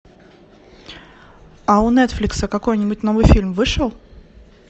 а у нетфликса какой нибудь новый фильм вышел